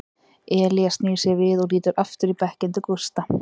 Elías snýr sér við og lítur aftur í bekkinn til Gústa.